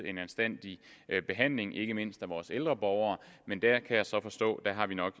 en anstændig behandling ikke mindst af vores ældre borgere men der kan jeg så forstå at vi nok